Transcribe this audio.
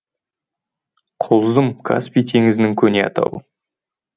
құлзым каспий теңізінің көне атауы